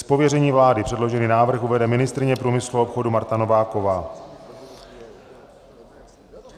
Z pověření vlády předložený návrh uvede ministryně průmyslu a obchodu Marta Nováková.